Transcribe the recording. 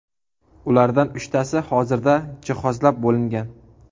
Ulardan uchtasi hozirda jihozlab bo‘lingan.